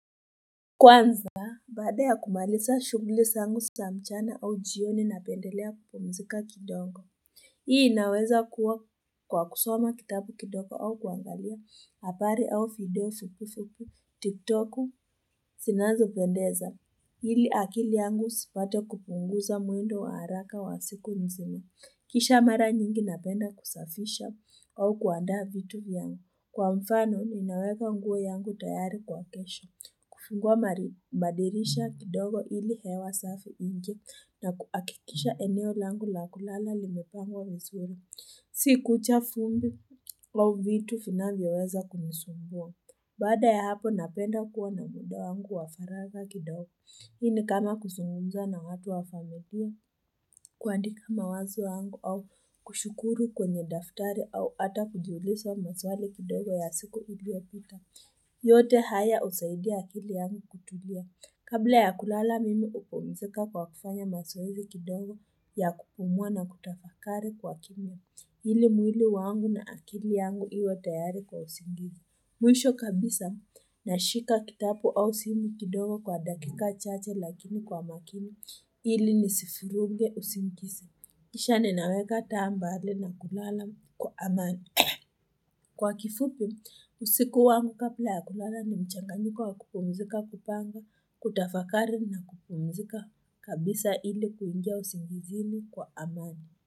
Kwanza, baada ya kumaliza shughuli zangu za mchana au jioni napendelea kupumzika kidogo. Hii inaweza kuwa kwa kusoma kitabu kidogo au kuangalia habari au video fupi fupi, tiktoku, zinazopendeza. Hili akili yangu isipate kupunguza mwendo wa haraka wa siku nzima. Kisha mara nyingi napenda kusafisha au kuandaa vitu yangu. Kwa mfano, ninaweka nguo yangu tayari kwa kesha, kufunguwa madirisha kidogo ili hewa safi iingie na kuhakikisha eneo langu la kulala limepangwa vizuri, si kucha vumbi au vitu vinavyoweza kunisumbua. Baada ya hapo napenda kuwa na muda wangu wa faragha kidogo. Hii ni kama kuzungumza na watu wa familia, kuandika mawazo yangu au kushukuru kwenye daftari au hata kujiuliza maswali kidogo ya siku iliopita. Yote haya husaidia akili yangu kutulia. Kabla ya kulala mimi hupumzika kwa kufanya mazoezi kidogo ya kupumua na kutafakari kwa kimya. Ili mwili wangu na akili yangu iwe tayari kwa usingizi. Mwisho kabisa nashika kitabu au simu kidogo kwa dakika chache lakini kwa makini ili nisivuruge usingizi. Kisha ninaweka taa mbali na kulala kwa amani. Kwa kifupi, usiku wangu kabla ya kulala ni mchanganyiko wa kupumzika, kupanga, kutafakari na kupumzika kabisa ili kuingia usingizini kwa amani.